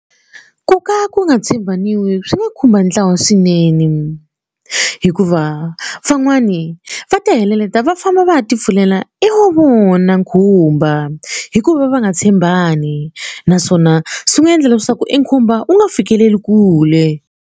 Ku ka ku nga tshembaniwi swi nga khumba ntlawa swinene hikuva van'wani va ta va famba va ya ti pfulela i wa vona khumba hikuva va nga tshembani naswona swi nga endla leswaku e khumba u nga fikeleli kule.